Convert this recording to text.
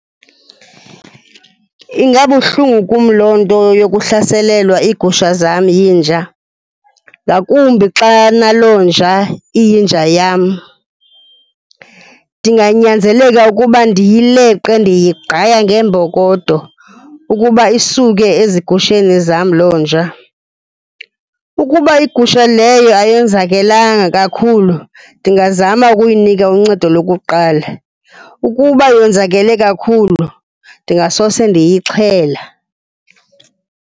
Ingabuhlungu kum loo nto yokuhlaselelwa iigusha zami yinja, ngakumbi xa naloo nja iyinja yam. Ndinganyanzeleka ukuba ndiyileqe, ndiyigqaya ngeembokodo ukuba isuke ezigusheni zam loo nja. Ukuba igusha leyo ayonzakelanga kakhulu, ndingazama ukuyinika uncedo lokuqala. Ukuba yonzakele kakhulu, ndingasose ndiyixhela.